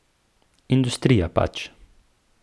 Industrija pač.